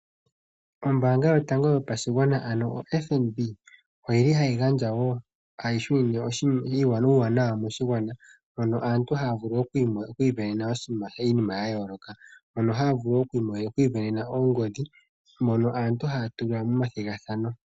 Ombaanga yotango yopashigwana ano o FNB oyi li hayi shunine uuwanawa moshigwana mono aantu haya vulu sindana iinima ya yooloka. Ohaya vulu woo oku isindanena oongodhi dhono aantu haya tula momathigathano.